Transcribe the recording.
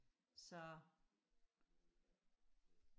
så